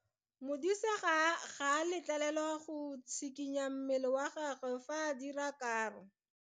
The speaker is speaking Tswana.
Modise ga a letlelelwa go tshikinya mmele wa gagwe fa ba dira karo.